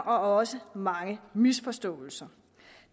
også mange misforståelser